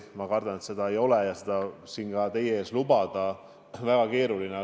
Ma kardan, et seda ei ole, ja siin teie ees seda lubada on väga keeruline.